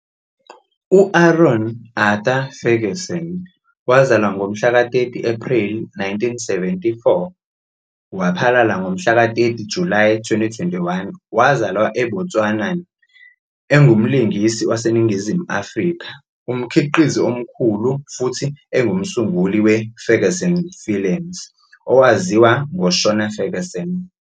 U-Aaron Arthur Ferguson, 30 Ephreli 1974 waphalala, ngo-30 Julayi 2021, wazalwa eBotswana, engumlingisi waseNingizimu Afrika, umkhiqizi omkhulu futhi engumsunguli weFerguson Films - owaziwa ngoShona Ferguson.